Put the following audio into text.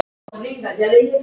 Mér þykir þetta mjög leitt.